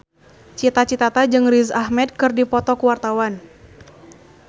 Cita Citata jeung Riz Ahmed keur dipoto ku wartawan